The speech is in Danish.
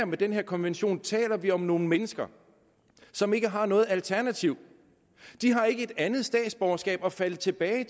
med den her konvention taler vi om nogle mennesker som ikke har noget alternativ de har ikke et andet statsborgerskab at falde tilbage